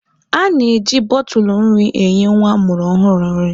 A na-eji bọtụlụ nri enye nwa a mụrụ ọhụrụ nri.